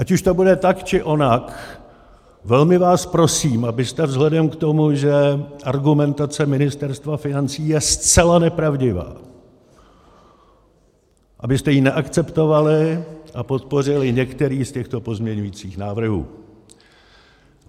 Ať už to bude tak, či onak, velmi vás prosím, abyste vzhledem k tomu, že argumentace Ministerstva financí je zcela nepravdivá, abyste ji neakceptovali a podpořili některý z těchto pozměňovacích návrhů.